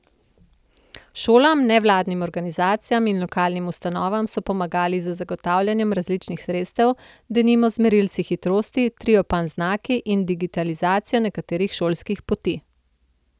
Šolam, nevladnim organizacijam in lokalnim ustanovam so pomagali z zagotavljanjem različnih sredstev, denimo z merilci hitrosti, triopan znaki in digitalizacijo nekaterih šolskih poti.